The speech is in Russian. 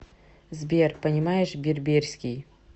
сбер понимаешь берберский